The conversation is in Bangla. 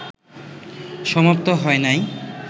সমাপ্ত হয় নাই